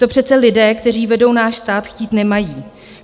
To přece lidé, kteří vedou náš stát, chtít nemají.